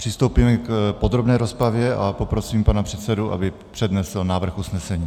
Přistoupíme k podrobné rozpravě a poprosím pana předsedu, aby přednesl návrh usnesení.